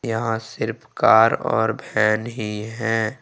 यहां सिर्फ कार और वैन ही हैं।